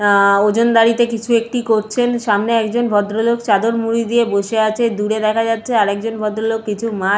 আ-আ-আ ওজনদারিতে কিছু একটি করছেন সামনে একজন ভদ্রলোক চাদর মুরি দিয়ে বসে আছে দূরে দেখা যাচ্ছে আর একজন ভদ্রলোক কিছু মাছ --